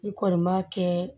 I kɔni b'a kɛ